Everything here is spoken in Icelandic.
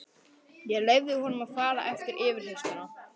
Ég leyfði honum að fara eftir yfirheyrsluna.